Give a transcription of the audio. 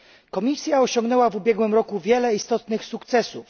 Komisja osiągnęła w ubiegłym roku wiele istotnych sukcesów.